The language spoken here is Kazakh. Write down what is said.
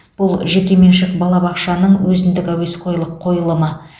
бұл жекеменшік балабақшаның өзіндік әуесқойлық қойылымы